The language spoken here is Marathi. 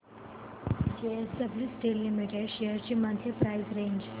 जेएसडब्ल्यु स्टील लिमिटेड शेअर्स ची मंथली प्राइस रेंज